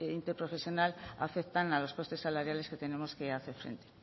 interprofesional afectan a los costes salariales que tenemos que hacer frente